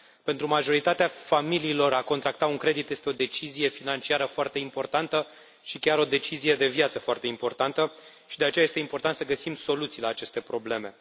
Pentru majoritatea familiilor, a contracta un credit este o decizie financiară foarte importantă și chiar o decizie de viață foarte importantă și de aceea este important să găsim soluții la aceste probleme.